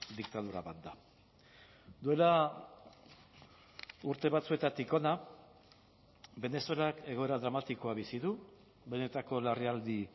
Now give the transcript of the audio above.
diktadura bat da duela urte batzuetatik hona venezuelak egoera dramatikoa bizi du benetako larrialdi